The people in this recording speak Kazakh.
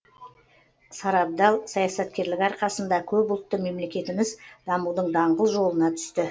сарабдал саясаткерлігі арқасында көпұлтты мемлекетіміз дамудың даңғыл жолына түсті